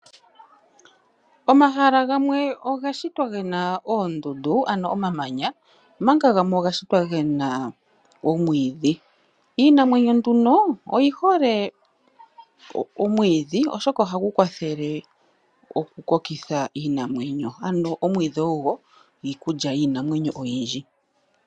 Omahala gamwe ogashitwa gena oondundu ano omamanya omanga gamwe ogashitwa gena omwiidhi. Iinamwenyo nduno oyihole omwiidhi oshoka ohagukwathele okukokitha iinamwenyo ano omwiidhi ogo iikulya yiinamwenyo oyindji.